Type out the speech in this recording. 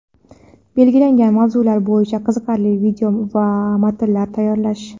belgilangan mavzular bo‘yicha qiziqarli video va matnlar tayyorlash;.